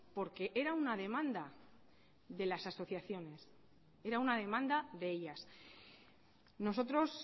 porque era una demanda de las asociaciones era una demanda de ellas nosotros